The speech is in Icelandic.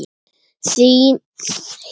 Þinn, Sölvi Leví.